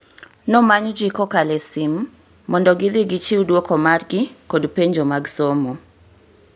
Nomany ji kokalo e sim mondo gidhi gichiw duoko margi kod penjo mag somo